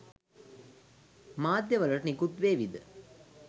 මාධ්‍යය වලට නිකුත් වේවිද?